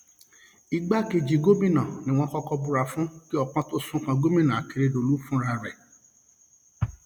igbákejì gómìnà ni wọn kọkọ búra fún kí ọpọn tóó sún kan gómìnà akérèdọlù fúnra rẹ